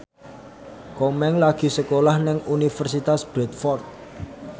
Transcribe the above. Komeng lagi sekolah nang Universitas Bradford